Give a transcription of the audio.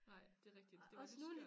Nej det rigtigt det var lidt skørt